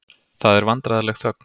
Það er vandræðaleg þögn.